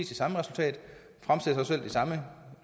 det samme resultat fremsætter så selv den samme